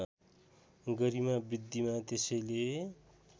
गरिमा बृद्धिमा त्यसैले